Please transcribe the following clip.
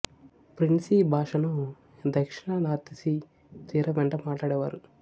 Frisii భాషను దక్షిణ North Sea తీరం వెంట మాట్లాడేవారు